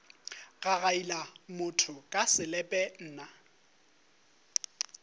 gagaila motho ka selepe nna